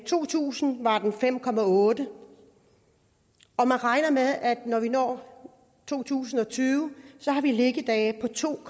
to tusind var den fem otte og man regner med at når vi når to tusind og tyve har vi liggedage på to